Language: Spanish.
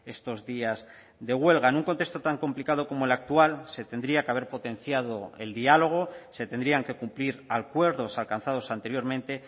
estos días de huelga en un contexto tan complicado como el actual se tendría que haber potenciado el diálogo se tendrían que cumplir acuerdos alcanzados anteriormente